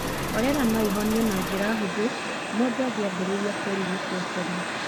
Korera no ĩhonio na njĩra hũthũ mũndũ angĩambĩrĩria kũrigĩtũo tene.